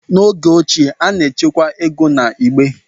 N'oge ochie, a na-echekwa ego na igbe,